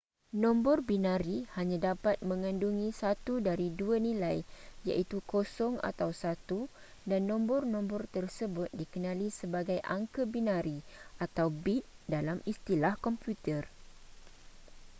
nombor binari hanya dapat mengandungi satu dari dua nilai iaitu 0 atau 1 dan nombor-nombor tersebut dikenali sebagai angka binari atau bit dalam istilah komputer